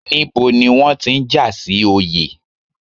Níbo ni wọ́n ti ń jà sí Oyè?